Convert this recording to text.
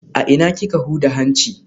A ina kika huda hanci?